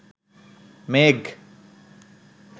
মেঘ